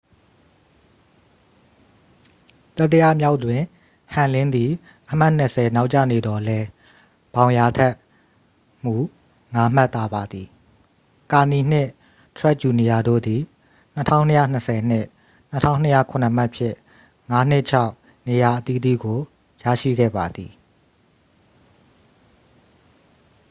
တတိယမြောက်တွင် ဟမ်လင်းသည် အမှတ်နှစ်ဆယ် နောက်ကျနေသော်လည်း ဘောင်ယာ ထက်မူ ငါးမှတ်သာပါသည် ကာနီနှင့် ထရက်ဂျူနီယာတို့သည် 2,220 နှင့် 2,207 မှတ်ဖြင့် ငါးနှင့်ခြောက် နေရာအသီးသီးကို ရရှိခဲ့ပါသည်